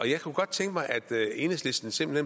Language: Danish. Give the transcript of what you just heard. jeg kunne godt tænke mig at enhedslisten simpelt